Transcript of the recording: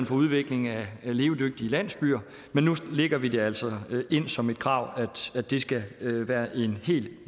for udvikling af levedygtige landsbyer men nu lægger vi det altså ind som et krav at det skal være en helt